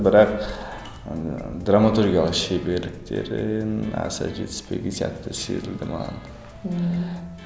бірақ ыыы драматургияға шеберліктерін аса жетіспеген сияқты сезілді маған ммм